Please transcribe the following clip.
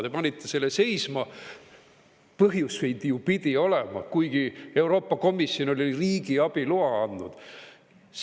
Te panite selle seisma – põhjuseid ju pidi olema –, kuigi Euroopa Komisjon oli riigiabi loa andnud.